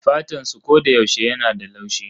Fatansu koyaushe yana da laushi